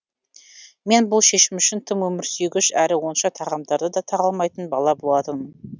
мен бұл шешім үшін тым өмірсүйгіш әрі онша тағамдарды да талғамайтын бала болатынмын